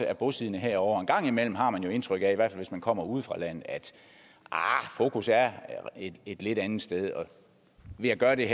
er bosiddende herovre og en gang imellem har man indtryk af i hvert fald hvis man kommer ude fra landet at fokus er et lidt andet sted ved at gøre det